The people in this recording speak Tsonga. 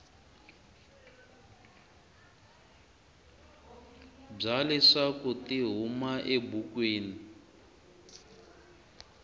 bya leswaku ti huma ebukwini